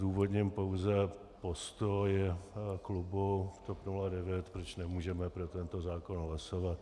Zdůvodním pouze postoj klubu TOP 09, proč nemůžeme pro tento zákon hlasovat.